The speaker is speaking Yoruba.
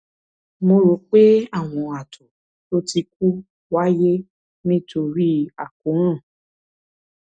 mo rò pé àwọn ààtọ tó ti kú wáyé nítorí akóràn